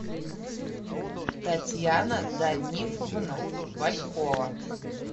татьяна данифовна валькова